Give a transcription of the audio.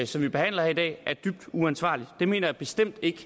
som vi behandler her i dag er dybt uansvarligt det mener jeg bestemt ikke